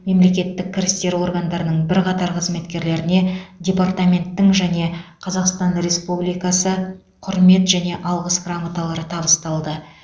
мемлекеттік кірістер органдарының бірқатар қызметкерлеріне департаменттің және қазақстан республикасы құрмет және алғыс грамоталары табысталды